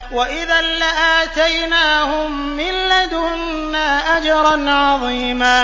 وَإِذًا لَّآتَيْنَاهُم مِّن لَّدُنَّا أَجْرًا عَظِيمًا